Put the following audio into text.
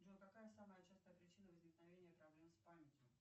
джой какая самая частая причина возникновения проблем с памятью